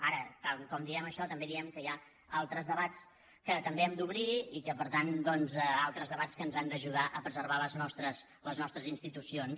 ara tal com diem això també diem que hi ha altres debats que també hem d’obrir i per tant doncs altres debats que ens han d’ajudar a preservar les nostres institucions